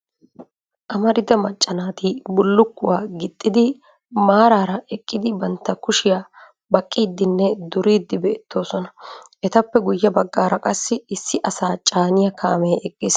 Amarida macca naati bullukuwa gixxidi maarara eqqidi bantta kushiyaa baqqiidinne duriidi beettoosona. Etappe guyye baggaara qassi issi asaa caaniyaa kaamee eqqiis.